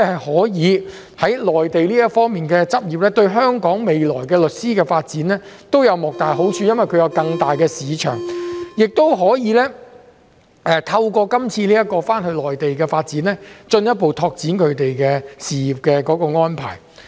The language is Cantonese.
可以在內地執業，對香港律師未來的發展都有莫大的好處，因為他們會有更大的市場，也可以......透過這項新措施，他們可以回內地發展，進一步拓展他們的事業安排。